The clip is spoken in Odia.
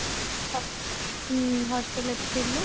ହ୍ମ hostelରେ ତ ଥିଲୁ